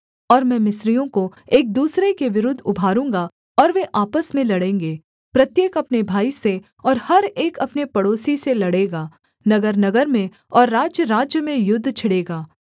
और मैं मिस्रियों को एक दूसरे के विरुद्ध उभारूँगा और वे आपस में लड़ेंगे प्रत्येक अपने भाई से और हर एक अपने पड़ोसी से लड़ेगा नगरनगर में और राज्यराज्य में युद्ध छिड़ेंगा